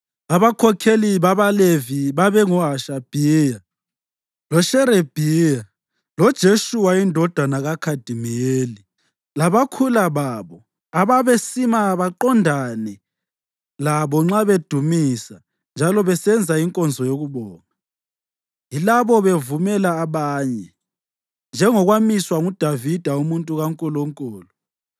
Abakhokheli babaLevi babengoHashabhiya, loSherebhiya, loJeshuwa indodana kaKhadimiyeli, labakhula babo ababesima baqondane labo nxa bedumisa njalo besenza inkonzo yokubonga, yilabo bevumela abanye, njengokwamiswa nguDavida umuntu kaNkulunkulu.